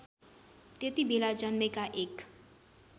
त्यतिबेला जन्मेका एक